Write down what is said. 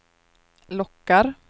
lockar